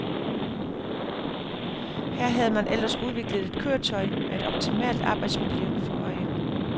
Her havde man ellers udviklet et køretøj med et optimalt arbejdsmiljø for øje.